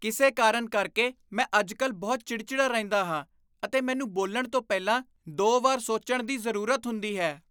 ਕਿਸੇ ਕਾਰਨ ਕਰਕੇ, ਮੈਂ ਅੱਜ ਕੱਲ੍ਹ ਬਹੁਤ ਚਿੜਚਿੜਾ ਰਹਿੰਦਾ ਹਾਂ ਅਤੇ ਮੈਨੂੰ ਬੋਲਣ ਤੋਂ ਪਹਿਲਾਂ ਦੋ ਵਾਰ ਸੋਚਣ ਦੀ ਜ਼ਰੂਰਤ ਹੁੰਦੀ ਹੈ